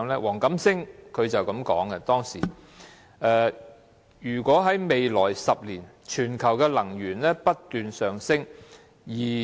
黃錦星當時這樣說："未來10年全球能源需求上升。